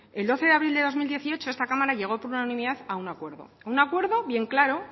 el doce de abril de dos mil dieciocho esta cámara llegó por unanimidad a un acuerdo un acuerdo bien claro